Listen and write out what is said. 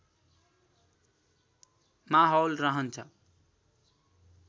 माहौल रहन्छ